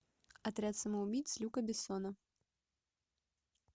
отряд самоубийц люка бессона